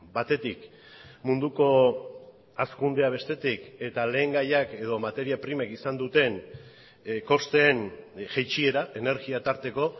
batetik munduko hazkundea bestetik eta lehengaiak edo materia primek izan duten kosteen jaitsiera energia tarteko